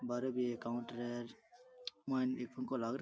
बारे भी एक काउंटर है र मायने एक पंखो लाग --